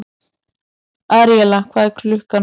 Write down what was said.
Aríella, hvað er klukkan?